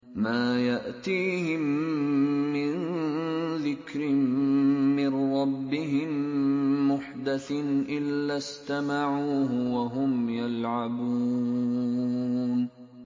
مَا يَأْتِيهِم مِّن ذِكْرٍ مِّن رَّبِّهِم مُّحْدَثٍ إِلَّا اسْتَمَعُوهُ وَهُمْ يَلْعَبُونَ